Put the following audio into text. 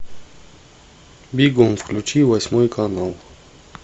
бегом включи восьмой канал